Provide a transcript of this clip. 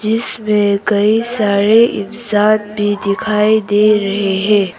इसमें कई सारे इंसान भी दिखाई दे रहे हैं।